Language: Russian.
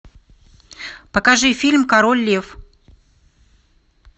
покажи фильм король лев